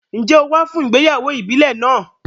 Ǹjẹ́ o wá fún ìgbéyàwó ìbílẹ̀ náà?